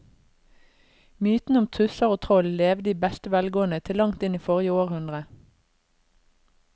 Mytene om tusser og troll levde i beste velgående til langt inn i forrige århundre.